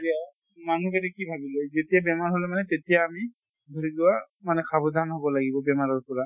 এতিয়া মানুহ জনে কি ভাবি লয়, যেতিয়া বেমাৰ হʼলে মানে তেতিয়া আমি ধৰি লোৱা মানে সাৱধান হʼব লাগিব বেমাৰৰ পৰা।